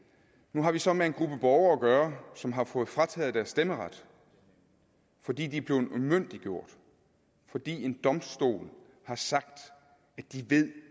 nu har vi så med en gruppe borgere at gøre som har fået frataget deres stemmeret fordi de er blevet umyndiggjort fordi en domstol har sagt at de